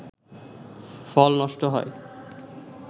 ফল নষ্ট হয়